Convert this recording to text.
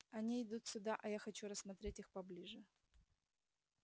они идут сюда а я хочу рассмотреть их поближе